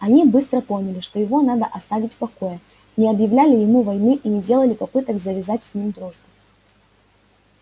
они быстро поняли что его надо оставить в покое не объявляли ему войны и не делали попыток завязать с ним дружбу